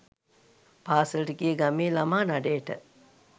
පාසැලට ගිය ගමේ ළමා නඩයට